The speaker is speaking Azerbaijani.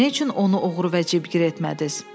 "Nə üçün onu oğru və cibgir etmədiz?"